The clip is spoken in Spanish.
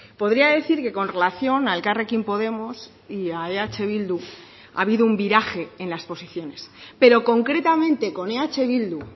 podría decir que con relación a elkarrekin podemos y a eh bildu ha habido un viraje en las posiciones pero concretamente con eh bildu